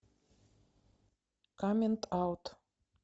камент аут